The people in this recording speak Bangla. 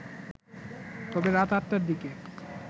তবে রাত ৮টার দিকে